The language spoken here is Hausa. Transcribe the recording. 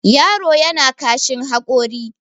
yaro yana kashin hakori